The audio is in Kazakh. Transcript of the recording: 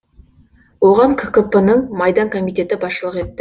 оған ккп нің майдан комитеті басшылық етті